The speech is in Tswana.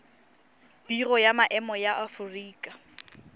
biro ya maemo ya aforika